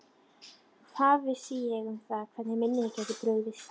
Hvað vissi ég um það hvernig minnið gæti brugðist?